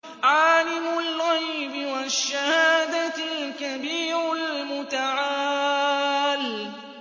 عَالِمُ الْغَيْبِ وَالشَّهَادَةِ الْكَبِيرُ الْمُتَعَالِ